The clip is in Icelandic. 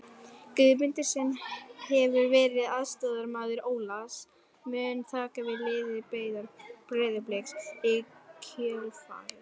Guðmundur, sem hefur verið aðstoðarmaður Ólafs, mun taka við liði Breiðabliks í kjölfarið.